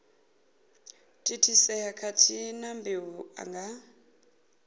thithisea khathihi na mbeu nga